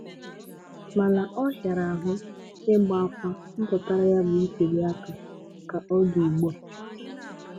Mana ọhịara ahụ ịgba áfá mpụtara ya bụ ntụlịaka ka ọ dị ugbua.